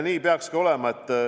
Nii peakski olema.